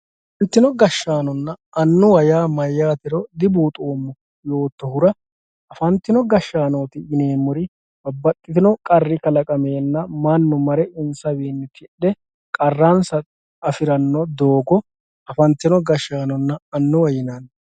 Afanitino gashanonna anuwa ya mayatero dubuxomo yotohura afantino gashanoti yinemori babaxino qarri kakaqamena manu mare insawinni tidhe qaransa afirano doho afantino gashanonna anuwa yinanni